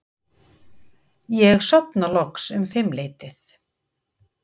Ég sofna loks um fimmleytið.